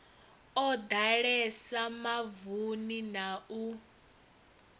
o ḓalesa mavuni na u